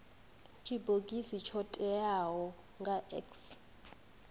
tshibogisi tsho teaho nga x